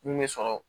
Mun bɛ sɔrɔ